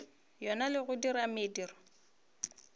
yona le go dira mediro